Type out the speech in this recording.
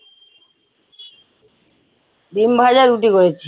ডিমভাজা রুটি করেছি